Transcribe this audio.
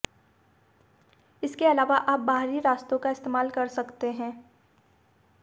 इसके अलावा आप बाहरी रास्तों का इस्तेमाल कर सकते हैं